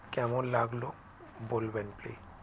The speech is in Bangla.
কেমন লাগলো বলবেন ple~